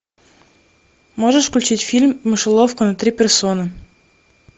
можешь включить фильм мышеловка на три персоны